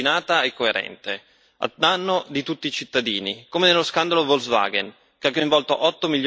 a danno di tutti i cittadini, come nello scandalo Volkswagen che ha coinvolto otto milioni di veicoli in Europa.